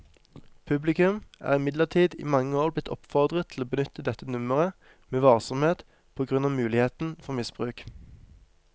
Publikum er imidlertid i mange år blitt oppfordret til å benytte dette nummeret med varsomhet på grunn av muligheten for misbruk.